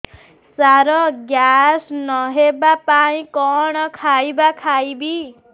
ସାର gas ନ ହେବା ପାଇଁ କଣ ଖାଇବା ଖାଇବି